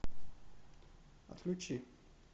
отключи